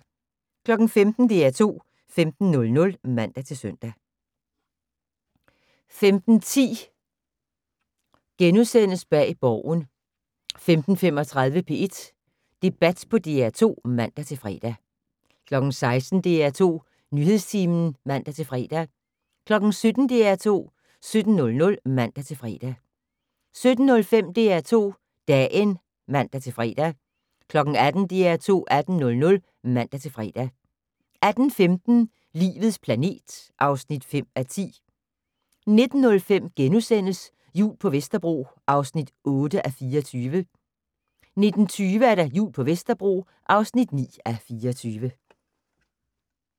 15:00: DR2 15:00 (man-søn) 15:10: Bag Borgen * 15:35: P1 Debat på DR2 (man-fre) 16:00: DR2 Nyhedstimen (man-fre) 17:00: DR2 17:00 (man-fre) 17:05: DR2 Dagen (man-fre) 18:00: DR2 18:00 (man-fre) 18:15: Livets planet (5:10) 19:05: Jul på Vesterbro (8:24)* 19:20: Jul på Vesterbro (9:24)